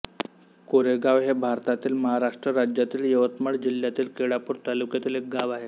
कारेगाव हे भारतातील महाराष्ट्र राज्यातील यवतमाळ जिल्ह्यातील केळापूर तालुक्यातील एक गाव आहे